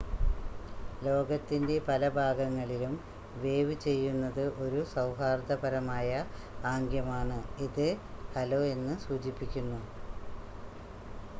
"ലോകത്തിന്റെ പല ഭാഗങ്ങളിലും വേവ് ചെയ്യുന്നത് ഒരു സൗഹാർദ്ദപരമായ ആംഗ്യമാണ് ഇത് "ഹലോ" എന്ന് സൂചിപ്പിക്കുന്നു.